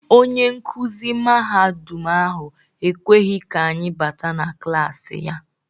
Onye nkuzi mahadum ahụ ekweghị ka anyị báátà na klasi ya.